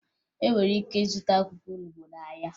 E nwere ike ịzụta akwụkwọ olubo n'ahịa